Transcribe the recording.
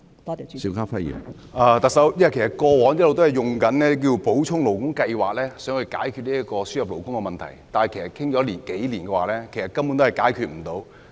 特首，其實過往一直也是以補充勞工計劃來解決輸入勞工問題，但說了數年也未能解決問題。